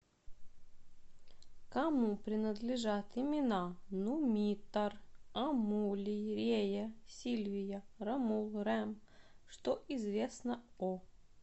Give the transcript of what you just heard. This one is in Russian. кому принадлежат имена нумитор амулий рея сильвия ромул рем что известно о